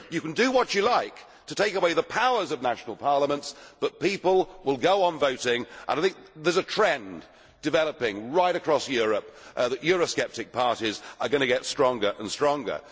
You can do what you like to take away the powers of national parliaments but people will go on voting, and there is a trend developing right across Europe towards euro sceptic parties getting and stronger.